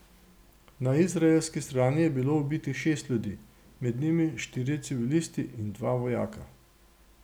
Na izraelski strani je bilo ubitih šest ljudi, med njimi štirje civilisti in dva vojaka.